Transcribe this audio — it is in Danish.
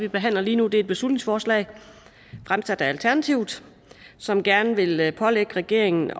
vi behandler lige nu et beslutningsforslag fremsat af alternativet som gerne vil pålægge regeringen